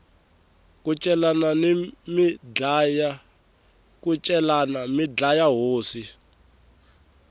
ku celani mi dlaya hosi